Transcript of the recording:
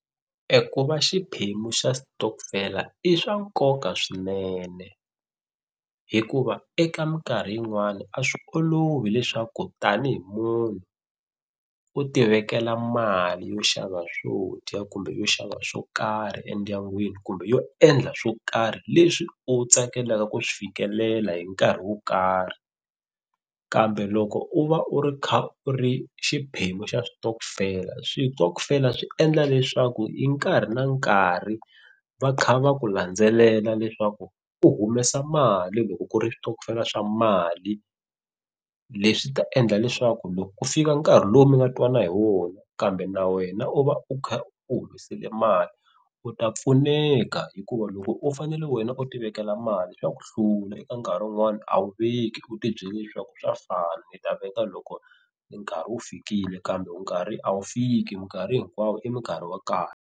E ku va xiphemu xa sitokofela i swa nkoka swinene hikuva eka mikarhi yin'wana a swi olovi leswaku tanihi munhu u ti vekela mali yo xava swo dya kumbe yo xava swo karhi endyangwini kumbe yo endla swo karhi leswi u tsakelaka ku swi fikelela hi nkarhi wo karhi. Kambe loko u va u ri kha u ri xiphemu xa switokofela, switokofela swi endla leswaku hi nkarhi na nkarhi va kha va ku landzelela leswaku u humesa mali loko ku ri switokofela swa mali. Leswi ta endla leswaku loko ku fika nkarhi lowu mi nga twana hi wona kambe na wena u va u kha u humesile mali u ta pfuneka hikuva loko u fanele wena u ti vekela mali swa ku hlula. Eka nkarhi wun'wana a wu veki u tibyele leswaku swa fana ni ta veka loko nkarhi wu fikile kambe nkarhi a wu fiki mikarhi hinkwawo i mikarhi wa kahle.